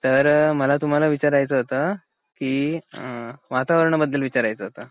तर मला तुम्हाला विचारायचं होत कि वातावरण बद्दल विचारायचं होत.